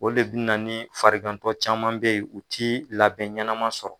O de bina ni farigantɔ caman be yen, u ti labɛn ɲɛnama sɔrɔ